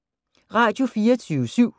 Radio24syv